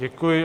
Děkuji.